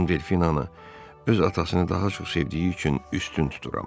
Madam Delfina öz atasını daha çox sevdiyi üçün üstün tuturam.